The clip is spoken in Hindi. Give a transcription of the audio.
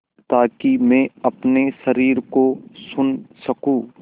ताकि मैं अपने शरीर को सुन सकूँ